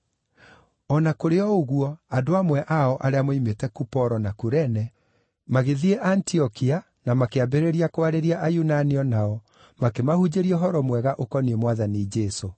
O na kũrĩ o ũguo, andũ amwe ao, arĩa moimĩte Kuporo, na Kurene, magĩthiĩ Antiokia na makĩambĩrĩria kwarĩria Ayunani o nao, makĩmahunjĩria ũhoro mwega ũkoniĩ Mwathani Jesũ.